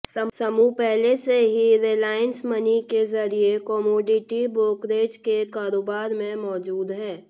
समूह पहले से ही रिलायंस मनी के जरिए कमोडिटी ब्रोकरेज के कारोबार में मौजूद है